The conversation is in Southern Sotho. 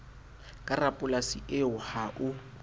ke rapolasi eo ha o